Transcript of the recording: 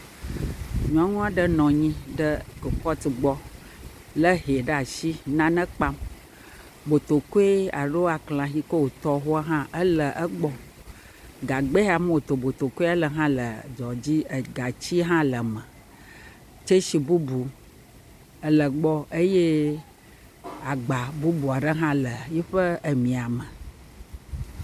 Nyɔnu aɖe nɔ anyi ɖe kropɔt, lé hɛ ɖe as inane kpam, botokoe alo aklahi yike wòtɔ hã le egbɔ, gagba yike wòtɔ botokoe le dzoa dzi, gatsia hã le me, tsetsi bubu ele gbɔ eye agba bubu aɖe hã le eƒe mia me.